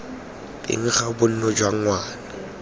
teng ga bonno jwa ngwana